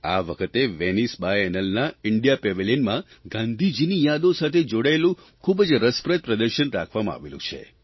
આ વખતે વેનીસ બાયએનલના ઇન્ડિયા પેવેલિયનમાં ગાંધીજીની યાદો સાથે જોડાયેલું ખૂબ જ રસપ્રદ પ્રદર્શન રાખવામાં આવેલું છે